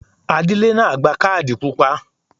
Adílẹ́ náà gba Kádì pupa.